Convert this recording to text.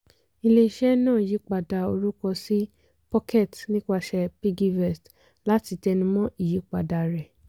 ilé-iṣẹ́ náà yípadà orúkọ sí pocket nípasẹ̀ piggyvest láti tẹ́numọ̀ ìyípadà rẹ̀.